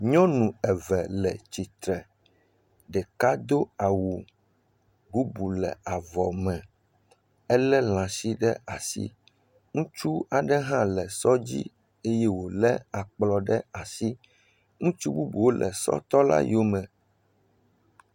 Nyɔnu eve le tsitre. Ɖeka do awu bubu le avɔ me ele lãsi ɖe asi. Ŋutsu aɖe hã le sɔ dzi eye wo le akplɔ ɖe asi. Ŋutsu bubuwo le sɔ tɔ la yome.